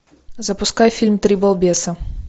запускай фильм три балбеса